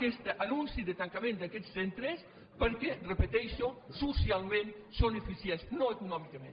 aquest anunci de tancament d’aquests centres perquè ho repeteixo socialment són eficients no econòmicament